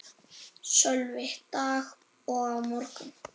Sölvi: Dag og á morgun?